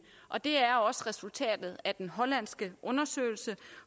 og det er også resultatet af den hollandske undersøgelse